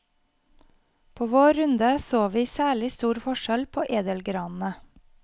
På vår runde så vi særlig stor forskjell på edelgranene.